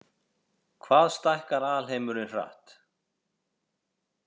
Hvað stækkar alheimurinn hratt?